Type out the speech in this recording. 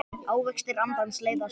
Ávextir andans leiða söng.